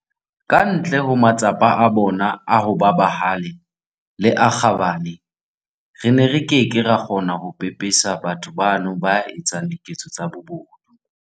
Ka ntle ho matsapa a bona a ho ba bahale le a kgabane, re ne re ke ke ra kgona ho pepesa batho bano ba etsang diketso tsa bobodu.